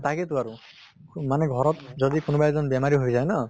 তাকে তো আৰু। মানে ঘৰত যদি কোনোবা এজন বেমাৰি হৈ যায় ন